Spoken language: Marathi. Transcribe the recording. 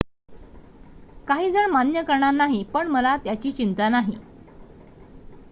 """काहीजण मान्य करणार नाही पण मला त्याची चिंता नाही.